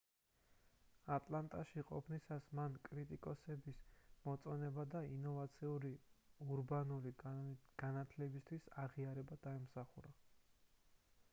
ატლანტაში ყოფნისას მან კრიტიკოსების მოწონება და ინოვაციური ურბანული განათლებისთვის აღიარება დაიმსახურა